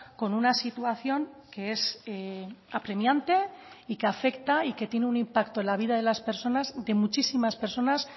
con una situación que es apremiante y que afecta y que tiene un impacto en la vida de las personas de muchísimas personas